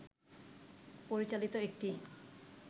পরিচালিত একটি